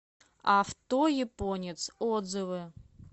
авто японец отзывы